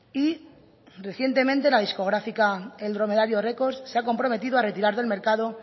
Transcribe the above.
y recientemente la discográfica el dromedario records se ha comprometido a retirar del mercado